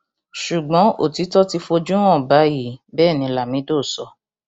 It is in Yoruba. ṣùgbọn òtítọ ti fojú hàn báyìí bẹẹ ni lamido sọ